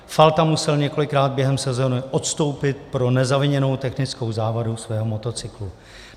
Falta musel několikrát během sezóny odstoupit pro nezaviněnou technickou závadu svého motocyklu.